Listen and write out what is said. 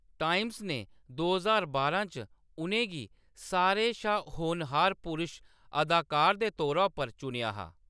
Times ने दो ज्हार बारां च उनें गी सारें शा होनहार पुरश अदाकार दे तौरा उप्पर चुनेआ हा।